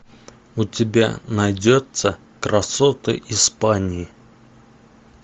у тебя найдется красоты испании